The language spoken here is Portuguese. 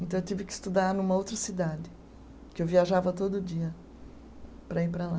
Então, eu tive que estudar numa outra cidade, que eu viajava todo dia para ir para lá.